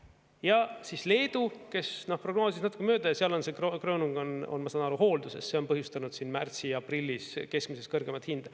Ja siis Leedu, kes prognoosisid natuke mööda, ja seal on see ….. on, ma saan aru, hoolduses, see on põhjustanud siin märtsis ja aprillis keskmisest kõrgemat hinda.